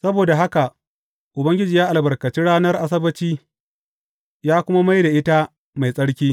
Saboda haka Ubangiji ya albarkaci ranar Asabbaci, ya kuma mai da ita mai tsarki.